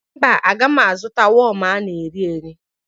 Mba, agaghị m azụta wọm a na-erieri